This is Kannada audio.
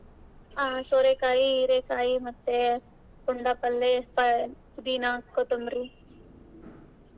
ಆ ಸೋರೆಕಾಯಿ, ಹೀರೆಕಾಯಿ ಮತ್ತೆ ಪುಂಡಪಲ್ಲೇ, ಪ~ ಪುದಿನಾ, ಕೊತ್ತೊಂಬ್ರಿ.